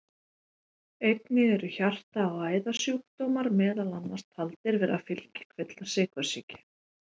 Einnig eru hjarta- og æðasjúkdómar meðal annars taldir vera fylgikvillar sykursýki.